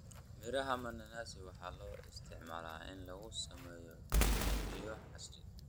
Miraha mananasi waxaa loo isticmaalaa in lagu sameeyo pipi iyo casiir.